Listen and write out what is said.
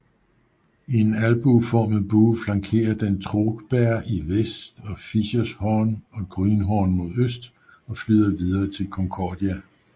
I en albueformet bue flankerer den Trugberg i vest og Fiescherhorn og Grünhorn mod øst og flyder videre til Concordia